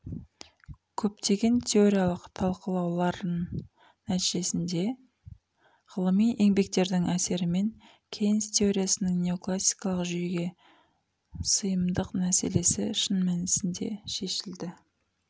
көптеген теориялық талқылауларын нәтижесінде ғылыми еңбектердің әсерімен кейнс теориясының неоклассикалық жүйеге сыйымдық мәселесі шын мәнісінде шешілді